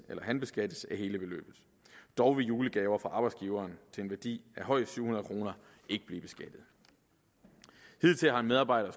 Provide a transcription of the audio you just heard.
han beskattes af hele beløbet dog vil julegaver fra arbejdsgiveren til en værdi af højst syv hundrede kroner ikke blive beskattet hidtil har en medarbejder